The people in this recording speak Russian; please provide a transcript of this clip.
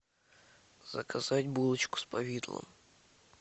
заказать булочку с повидлом